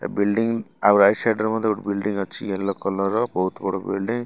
ଏ building ଆଉ right side ରେ ମଧ୍ୟ ଗୋଟେ ବିଲଡିଂ ଅଛି ଏଲୋ କଲର ବୋହୁତ ବଡ ବିଲଡିଂ ।